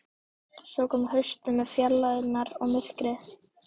Svo kom haustið með fjarlægðirnar og myrkrið.